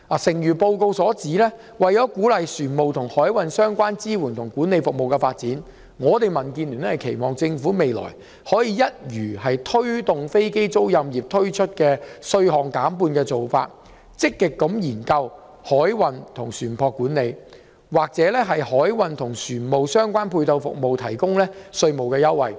誠如報告所言，為了鼓勵船務和海運相關支援及管理服務的發展，民主建港協進聯盟期望政府未來可以採取一如它為推動飛機租賃業而推出稅項減半的做法，積極研究就海運、船舶管理和船務相關配套服務提供稅務優惠。